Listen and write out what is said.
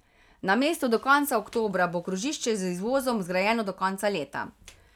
Namesto do konca oktobra bo krožišče z izvozom zgrajeno do konca leta.